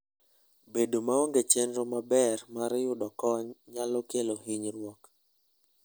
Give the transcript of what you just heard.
Bedo maonge chenro maber mar yudo kony nyalo kelo hinyruok.